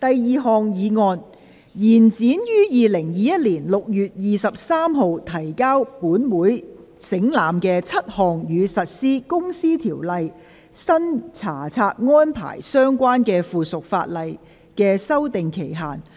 第二項議案：延展於2021年6月23日提交本會省覽的7項與實施《公司條例》新查冊安排相關的附屬法例的修訂期限。